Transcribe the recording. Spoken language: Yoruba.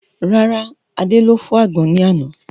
Rárá, Adé ló fọ́ àgbọn ní àná